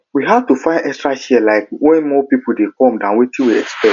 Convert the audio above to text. we had to find extra chair um when more people dey come than wetin we expect